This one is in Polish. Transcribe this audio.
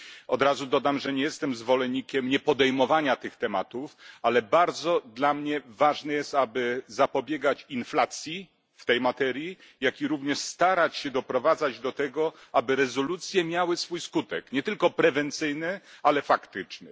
Od razu dodam, że nie jestem zwolennikiem niepodejmowania tych tematów, ale dla mnie bardzo ważne jest, aby zapobiegać inflacji w tej materii, jak również starać się doprowadzać do tego, żeby rezolucje miały swój skutek nie tylko prewencyjny, ale faktyczny.